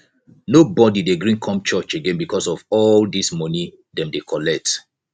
nobodi dey gree come church again because of all dese moni dem dey collect